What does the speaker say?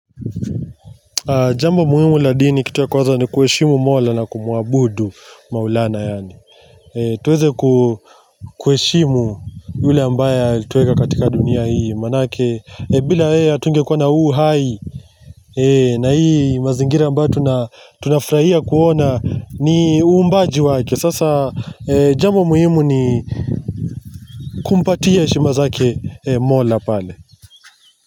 Jambo muhimu la dini kitu ya kwanza ni kuheshimu mola na kumuabudu maulana yaani tuweze kuheshimu yule ambaye alituweka katika dunia hii maanake bila yeye hatungekuwa na huu uhai na hii mazingira ambayo tunafurahia kuona ni uumbaji wake sasa jambo muhimu ni kumpatia heshima zake mola pale.